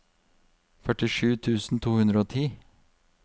førtisju tusen to hundre og ti